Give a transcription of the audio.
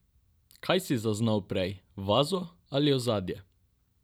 Kaj si zaznal prej, vazo ali ozadje?